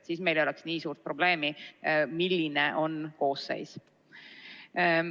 Siis meil ei oleks nii suurt probleemi, milline on koosseis.